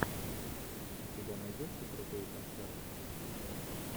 у тебя найдется крутые концерты